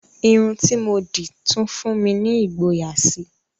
Irun tí mo dì tún fún mi ní ìgboyà síi